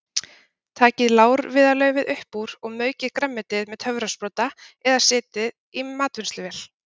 Takið lárviðarlaufið upp úr og maukið grænmetið með töfrasprota eða setjið í matvinnsluvél.